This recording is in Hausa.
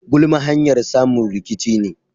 Gulma hanyar samun rikici ne.